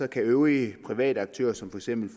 kan øvrige private aktører som for eksempel